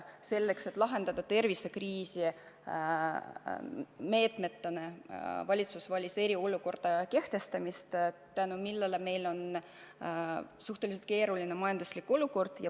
Selleks et tervisekriisi teatud meetmetega lahendada, valitsus valis eriolukorra kehtestamise, mille tõttu meil on suhteliselt keeruline majanduslik olukord.